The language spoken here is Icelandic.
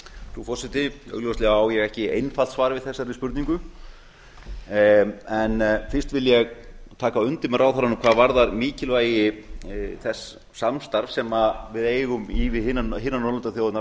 frú forseti augljóslega á ég ekki einfalt svar við þessari spurningu fyrst vil ég taka undir með ráðherranum hvað varðar mikilvægi þess samstarfs sem við eigum í við hinar norðurlandaþjóðirnar á